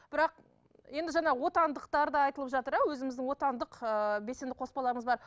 бірақ енді жаңа отандықтар да айтылып жатыр иә өзіміздің отандық ыыы белсенді қоспаларымыз бар